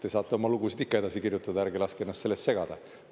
Te saate oma lugusid ikka edasi kirjutada, ärge laske ennast sellest segada.